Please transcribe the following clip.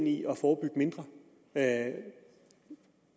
i at forebygge mindre at